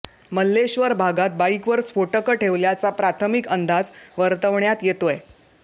मल्लेश्वर भागात बाईकवर स्फोटकं ठेवल्याचा प्राथमिक अंदाज वर्तवण्यात येतोय